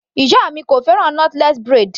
Ìyá mi kò fẹ́ràn knotless braid.